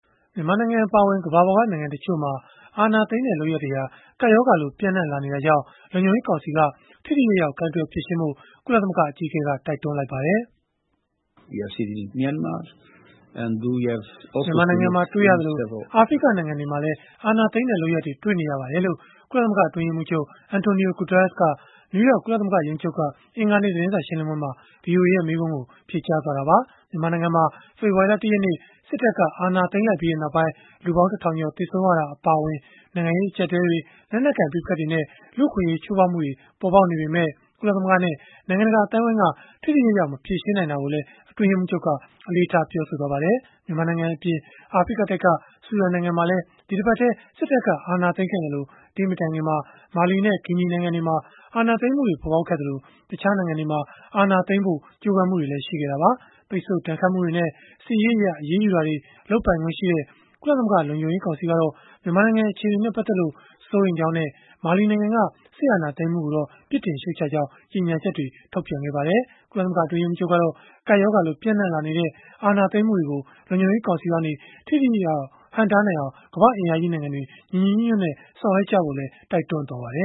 မြန်မာနိုင်ငံ အပါအဝင် ကမ္ဘာပေါ်က နိုင်ငံတချို့မှာ အာဏာသိမ်းတဲ့လုပ်ရပ်တွေဟာ ကူးစက်ရောဂါလို ပျံ့နှံ့လာနေတာကြောင့် လုံခြုံရေးကောင်စီက ထိထိရောက်ရောက် ကိုင်တွယ်ဖြေရှင်းဖို့ ကုလသမဂ္ဂ အကြီးအကဲက တိုက်တွန်းလိုက်ပါတယ်။ “မြန်မာနိုင်ငံမှာ တွေ့ရသလို၊ အာဖရိကနိုင်ငံတွေမှာလည်း အာဏာသိမ်းတဲ့ လုပ်ရပ်တွေ တွေ့နေရပါတယ်။” လို့ ကုလသမဂ္ဂ အတွင်းရေးမှူးချုပ် Antonio Guterres က နယူးယောက် ကုလသမဂ္ဂ ရုံးချုပ်က သတင်းစာ ရှင်းလင်းပွဲမှာ ဗွီအိုအေရဲ့ မေးခွန်းကို ဖြေကြားသွားခဲ့တာပါ။ မြန်မာနိုင်ငံမှာ ဖေဖော်ဝါရီလ ၁ ရက်နေ့ စစ်တပ်က အာဏာသိမ်းလိုက်ပြီးနောက်ပိုင်း လူပေါင်း ၁,၀၀၀ ကျော် သေဆုံးခဲ့ရတာ အပါအဝင် နိုင်ငံရေး အကျပ်အတည်းတွေ၊ လက်နက်ကိုင် ပဋိပက္ခတွေနဲ့ လူ့အခွင့်အရေး ချိုးဖောက်မှုတွေ ပေါ်ပေါက်နေပေမဲ့ ကုလသမဂ္ဂနဲ့ နိုင်ငံတကာ အသိုင်းအဝန်းက ထိထိရောက်ရောက် မဖြေရှင်းနိုင်တာကိုလည်း အတွင်းရေးမှူးချုပ်က အလေးထား ပြောဆိုသွားပါတယ်။ မြန်မာနိုင်ငံအပြင် အာဖရိကတိုက်က ဆူဒန်နိုင်ငံမှာလည်း ဒီတပတ်ထဲ စစ်တပ်က အာဏာသိမ်းခဲ့သလို၊ ဒီမတိုင်ခင်မှာ မာလီနဲ့ ဂီနိုင်ငံတွေမှာ အာဏာသိမ်းမှုတွေ ပေါ်ပေါက်ခဲ့သလို တခြားနိုင်ငံတွေမှာ အာဏာသိမ်းဖို့ ကြိုးပမ်းမှုတွေလည်း ရှိခဲ့တာပါ။ ပိတ်ဆို့ဒဏ်ခတ်မှုတွေနဲ့ စစ်ရေးအရ အရေးယူတာတွေ လုပ်ပိုင်ခွင့်ရှိတဲ့ ကုလသမဂ္ဂ လုံခြုံရေးကောင်စီကတော့ မြန်မာနိုင်ငံ အခြေအနေနဲ့ ပတ်သက်လို့ စိုးရိမ်ကြောင်းနဲ့ မာလီနိုင်ငံက စစ်အာဏာသိမ်းမှုကိုတော့ ပြစ်တင်ရှုတ်ချကြောင်း ကြေညာချက် ထုတ်ပြန်ခဲ့ပါတယ်။ ကုလသမဂ္ဂ အတွင်းရေးမှူးချုပ်ကတော့ ကူးစက်ရောဂါလို ပျံ့နှံ့လာနေတဲ့ အာဏာသိမ်းမှုတွေကို လုံခြုံရေးကောင်စီကနေ ထိထိရောက်ရောက် ဟန့်တားနိုင်အောင် ကမ္ဘာ့အင်အားကြီး နိုင်ငံတွေ ညီညီညွတ်ညွတ်နဲ့ ဆောင်ရွက်ကြဖို့လည်း တိုက်တွန်းခဲ့ပါတယ